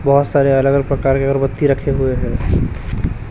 बहोत सारे अलग अलग प्रकार के अगरबत्ती रखे हुए है।